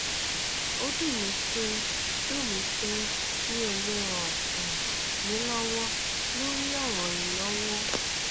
ó dùn mí pé dùn mí pé mi ò lè ràn um yín lọwọ lórí ọràn ìnáwó